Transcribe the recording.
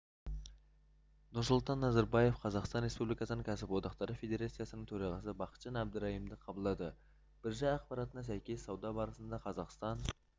нұрсұлтан назарбаев қазақстан республикасының кәсіподақтары федерациясының төрағасы бақытжан әбдірайымды қабылдады биржа ақпаратына сәйкес сауда барысында қазақстан